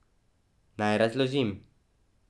Naj razložim.